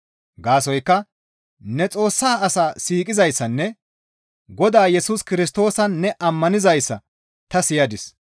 Gaasoykka ne Xoossa asaa siiqizayssanne Godaa Yesus Kirstoosan ne ammanizayssa ta siyadis.